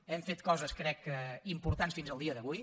hem fet coses crec importants fins al dia d’avui